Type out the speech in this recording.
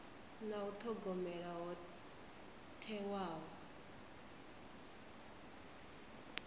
na u thogomela ho thewaho